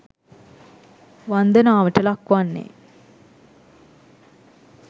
වන්දනාවට ලක් වන්නේ